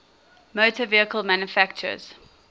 motor vehicle manufacturers